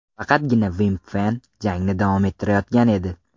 Faqatgina Vimpfen jangni davom ettirayotgan edi.